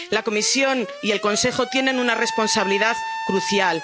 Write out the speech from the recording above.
Siria. La Comisión y el Consejo tienen una responsabilidad crucial.